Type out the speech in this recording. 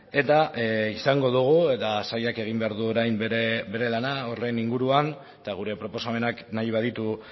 eta izango dugu eta sailak egin behar du orain bere lana horren inguruan eta gure proposamenak nahi baditu